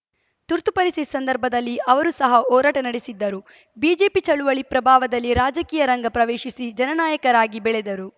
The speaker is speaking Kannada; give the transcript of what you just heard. ತುರ್ತು ಪರಿಸ್ಥಿತಿ ಸಂದರ್ಭದಲ್ಲಿ ಅವರು ಸಹ ಹೋರಾಟ ನಡೆಸಿದ್ದರು ಬಿಜೆಪಿಚಳುವಳಿ ಪ್ರಭಾವದಲ್ಲಿ ರಾಜಕೀಯ ರಂಗ ಪ್ರವೇಶಿಸಿ ಜನನಾಯಕರಾಗಿ ಬೆಳೆದರು